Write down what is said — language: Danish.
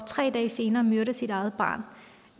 tre dage senere myrder sit eget barn